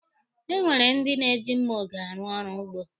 E nwere ndị na-eji mma oge arụ ọrụ ugbo.